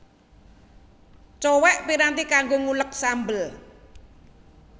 Cowèk piranti kanggo nguleg sambel